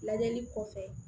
Lajɛli kɔfɛ